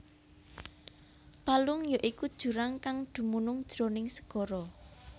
Palung ya iku jurang kang dumunung jroning segara